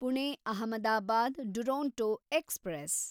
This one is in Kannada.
ಪುಣೆ ಅಹಮದಾಬಾದ್ ಡುರೊಂಟೊ ಎಕ್ಸ್‌ಪ್ರೆಸ್